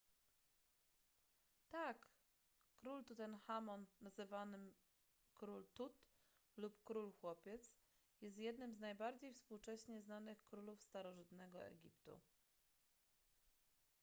tak król tutenchamon czasem nazywany król tut lub król chłopiec jest jednym z najbardziej współcześnie znanych królów starożytnego egiptu